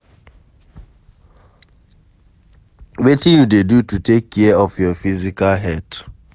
Wetin you dey do to take care of your physical health?